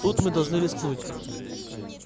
тут мы должны рискнуть